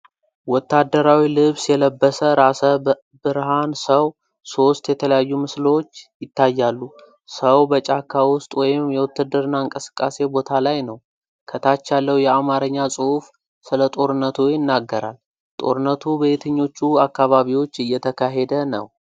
ወታደራዊ ልብስ የለበሰ ራሰ-ብርሃን ሰው ሶስት የተለያዩ ምስሎች ይታያሉ። ሰዉ በጫካ ውስጥ ወይም የውትድርና እንቅስቃሴ ቦታ ላይ ነው። ከታች ያለው የአማርኛ ጽሑፍ ስለጦርነቱ ይናገራል። ጦርነቱ በየትኞቹ አካባቢዎች እየተካሄደ ነው?